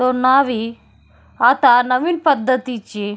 तो न्हावी आता नवीन पद्धतीची--